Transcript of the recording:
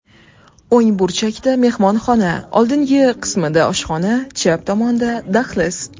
O‘ng burchakda mehmonxona, oldingi qismida oshxona, chap tomonda dahliz.